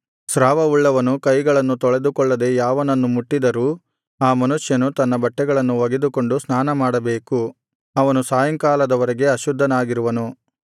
ಸ್ರಾವವುಳ್ಳವನು ಕೈಗಳನ್ನು ತೊಳೆದುಕೊಳ್ಳದೆ ಯಾವನನ್ನು ಮುಟ್ಟಿದರೂ ಆ ಮನುಷ್ಯನು ತನ್ನ ಬಟ್ಟೆಗಳನ್ನು ಒಗೆದುಕೊಂಡು ಸ್ನಾನಮಾಡಬೇಕು ಅವನು ಸಾಯಂಕಾಲದ ವರೆಗೆ ಅಶುದ್ಧನಾಗಿರುವನು